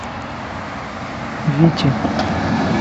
вити